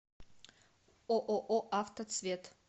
ооо автоцвет